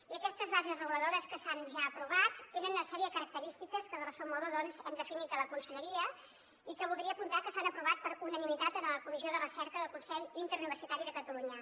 i aquestes bases reguladores que s’han ja aprovat tenen una sèrie de característiques que grosso modo doncs hem definit a la conselleria i que voldria apuntar que s’han aprovat per unanimitat en la comissió de recerca del consell interuniversitari de catalunya